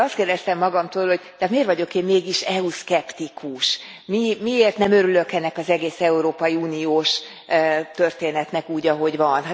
És akkor azt kérdeztem magamtól, hogy de hát miért vagyok én mégis EU szkeptikus, miért nem örülök ennek az egész európai uniós történetnek úgy, ahogy van.